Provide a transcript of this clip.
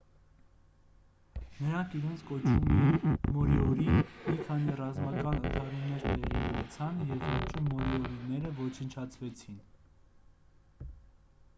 նրանք իրենց կոչում էին մորիորի մի քանի ռազմական ընդհարումներ տեղի ունեցան և վերջում մորիորիները ոչնչացվեցին